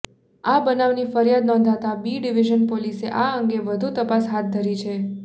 આ બનાવની ફરિયાદ નોંધાતા બી ડિવિઝન પોલીસે આ અંગે વધુ તપાસ હાથ ધરી છે